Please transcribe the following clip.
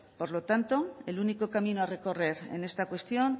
por lo tanto el único camino a recorrer en esta cuestión